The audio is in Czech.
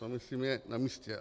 To, myslím, je na místě.